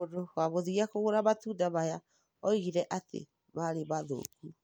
Mũndũ wa mũthia kũgũra matunda maya oigire atĩ maarĩ ma thũkũ